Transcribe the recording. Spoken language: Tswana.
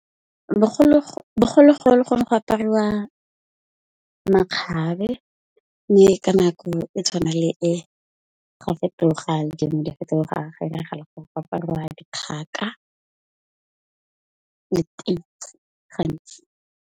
Bogologolo go ne go apariwa makgabe, mme ka nako e tshwana le e ga fetoga le tsone di a fetoga, go apariwa dikgaka gantsi.